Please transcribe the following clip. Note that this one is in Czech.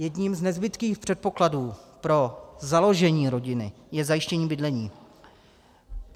Jedním z nezbytných předpokladů pro založení rodiny je zajištění bydlení.